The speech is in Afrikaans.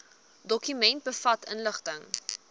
dokument bevat inligting